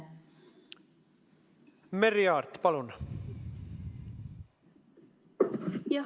Merry Aart, palun!